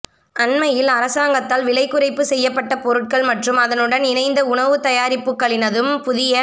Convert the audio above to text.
அண்மையில் அரசாங்கத்தால் விலை குறைப்புச் செய்யப்பட்ட பொருட்கள் மற்றும் அதனுடன் இணைந்த உணவுத் தயாரிப்புக்களினதும் புதிய